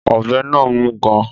Ọ̀bẹ náà mú gan-an